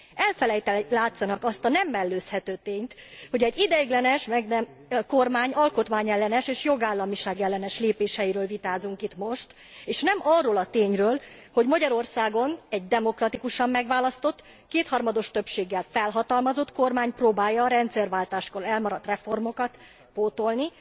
Elfelejteni látszanak azt a nem mellőzhető tényt, hogy egy ideiglenes kormány alkotmányellenes és jogállamiság ellenes lépéseiről vitázunk itt most, és nem arról a tényről, hogy Magyarországon egy demokratikusan megválasztott, kétharmados többséggel felhatalmazott kormány próbálja a rendszerváltáskor elmaradt reformokat pótolni.